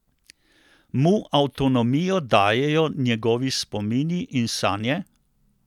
Mu avtonomijo dajejo njegovi spomini in sanje?